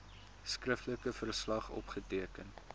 skriftelike verslag opgeteken